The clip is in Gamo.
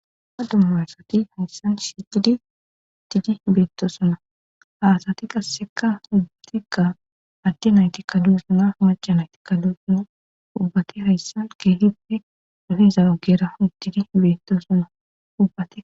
ha dumma asati hayssan shicidi tidi beetto suna haasati qasseka hubbatikka addi nayti kalu sunaf maca nayti kalo suna ubbati hayssan keehippe dofiza ugera hutidi beettosna ubbate